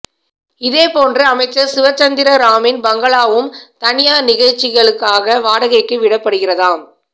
இதே போன்று அமைச்சர் சிவ்சந்திர ராமின் பங்களாவும் தனியார் நிகழ்ச்சிகளுக்காக வாடகைக்கு விடப்படுகிறதாம்